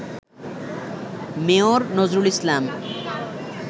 mayor Nazrul Islam